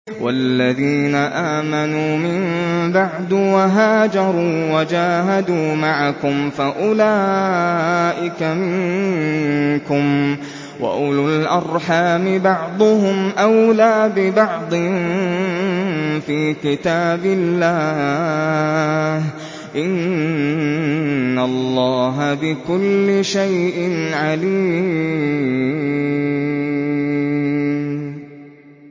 وَالَّذِينَ آمَنُوا مِن بَعْدُ وَهَاجَرُوا وَجَاهَدُوا مَعَكُمْ فَأُولَٰئِكَ مِنكُمْ ۚ وَأُولُو الْأَرْحَامِ بَعْضُهُمْ أَوْلَىٰ بِبَعْضٍ فِي كِتَابِ اللَّهِ ۗ إِنَّ اللَّهَ بِكُلِّ شَيْءٍ عَلِيمٌ